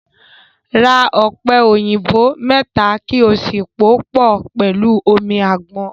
Ra ọ̀pẹ̀ òyìnbò mẹ́ta kí ó sì pòó pọ̀ pẹ̀lú omi àgbọn.